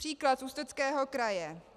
Příklad Ústeckého kraje.